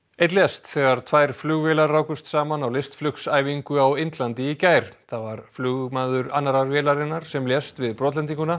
einn lést þegar tvær flugvélar rákust saman á á Indlandi í gær það var flugmaður annarrar vélarinnar sem lést við